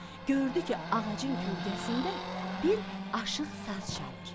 Gördü ki, ağacın kölgəsində bir aşiq saz çalır.